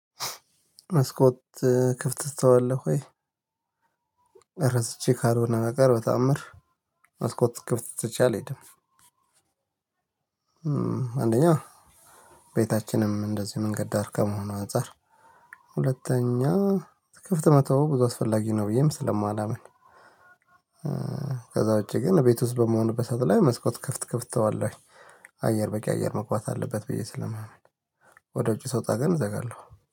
መስኮት ክፍት ትተዋለህ ወይ? ረስቼ ካልሆነ በቀር በተአምር መስኮት ክፍት ትቼ አልሄድም። አንደኛ ቤታችንም እንደዚሁ መንገድ ዳር ከመሆኑ አንፃር ሁለተኛ ክፍት መተው ብዙ አስፈላጊ ነው ብዬም ስለማላምን። ከዛ ውጪ ግን እቤት ውስጥ በምሆንበት ሰዓት ላይ መስኮት ክፍት ክፍት ተዋለሁኝ አየር በቂ አየር መግባት አለበት ብዬ ስለማምን። ወደ ውጪ ሰውጣ ግን እዘጋለሁ